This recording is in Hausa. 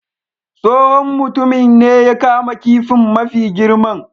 Tsohon mutumin ne ya kama kifin mafi girman.